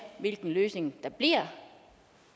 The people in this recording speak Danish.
hvilken løsning der bliver og